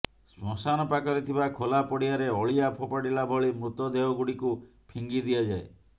ଶ୍ମଶାନ ପାଖରେ ଥିବା ଖୋଲା ପଡ଼ିଆରେ ଅଳିଆ ଫୋପାଡିଲା ଭଳି ମୃତଦେହ ଗୁଡ଼ିକୁ ଫିଙ୍ଗି ଦିଆଯାଏ